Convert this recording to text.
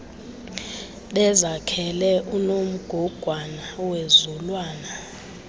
bezakhele unomgogwana wezulwana